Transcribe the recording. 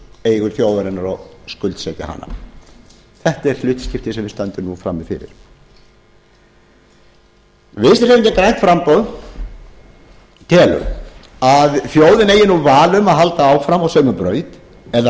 eigur þjóðarinnar og skuldsetja hana þetta er hlutskiptið sem við stöndum nú frammi fyrir vinstri hreyfingin grænt framboð telur að þjóðin eigi nú val um að halda áfram á sömu braut eða